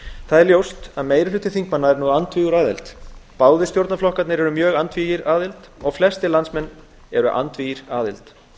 það er ljóst að meiri hluti þingmanna er nú andvígur aðild báðir stjórnarflokkarnir eru mjög andvígir aðild og flestir landsmenn eru það líka